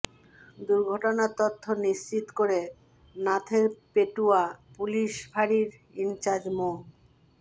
দুর্ঘটনার তথ্য নিশ্চিত করে নাথেরপেটুয়া পুলিশ ফাঁড়ির ইনচার্জ মো